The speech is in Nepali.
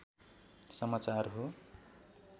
समचार हाे